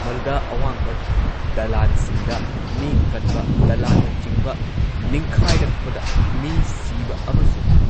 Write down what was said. ꯃꯗꯨꯗ ꯑꯋꯥꯡꯕ ꯗꯂꯥꯟꯁꯤꯡꯗ ꯃꯤ ꯀꯟꯕ, ꯗꯂꯥꯟꯅꯆꯤꯡꯕ ꯅꯤꯡꯈꯥꯏꯔꯛꯄꯗ ꯃꯤ ꯁꯤꯕ ꯑꯃꯁꯨꯡ